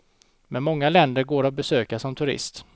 Men många länder går att besöka som turist.